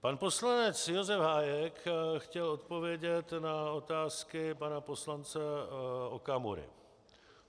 Pan poslanec Josef Hájek chtěl odpovědět na otázky pana poslance Okamury.